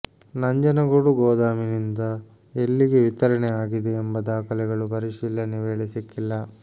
ನಂಜನಗೂಡು ಗೊದಾಮಿನಿಂದ ಎಲ್ಲಿಗೆ ವಿತರಣೆ ಆಗಿದೆ ಎಂಬ ದಾಖಲೆಗಳು ಪರಿಶೀಲನೆ ವೇಳೆ ಸಿಕ್ಕಿಲ್ಲ